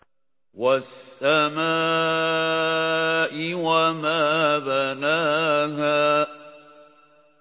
وَالسَّمَاءِ وَمَا بَنَاهَا